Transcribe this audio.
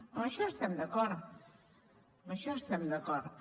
en això estem d’acord en això estem d’acord